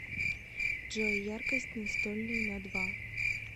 джой яркость настольной на два